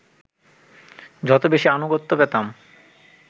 যত বেশি আনুগত্য পেতাম